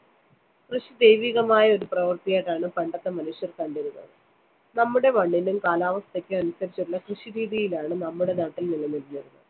കൃഷി ദൈവികമായ ഒരു പ്രവൃത്തിയായിട്ടാണ് പണ്ടത്തെ മനുഷ്യര്‍ കണ്ടിരുന്നത്. നമ്മുടെ മണ്ണിനും കാലാവസ്ഥയ്ക്കും അനുസരിച്ചുള്ള കൃഷിരീതിയിലാണ് നമ്മുടെ നാട്ടില്‍ നിലനിന്നിരുന്നത്.